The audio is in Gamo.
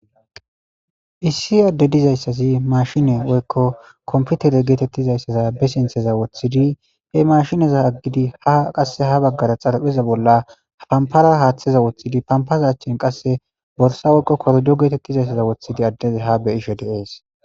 issi adde dizayssazi mashine woykko komputere geetettizayssaza be sintheza woththidi he mashineza aggidi ha qasse ha baggara xalapheza bolla pampara haaththeza woththidi pampaza achchen qasse borsa woykko kordo geetettizayssaza wothidi addeze ha be ishe deees